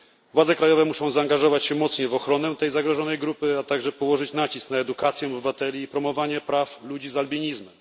Władze krajowe muszą mocniej zaangażować się w ochronę tej zagrożonej grupy, a także położyć nacisk na edukację obywateli i promowanie praw ludzi z albinizmem.